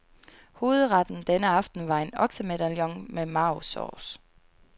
Hovedretten denne aften var en oksemedallion med marvsauce.